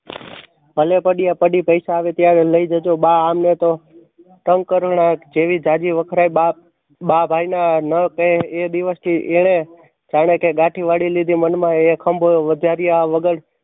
ભલે પડી પછી પૈસા આવે ત્યારે લાય જજો. બા આમને તો તંગ કરુણા જેવી જાજી વખણાઈ બા બા ભાઈ માં આ ના કહે એ દિવશ થી એણે જાણે કે ગાથી વળી લીધી મનમાં અહીં ખંભો વધારિયા વગર